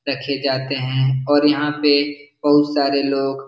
रखे जाते हैं और यहाँ पे बहुत सारे लोग --